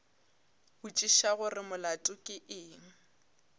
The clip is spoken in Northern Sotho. botšiša gore molato ke eng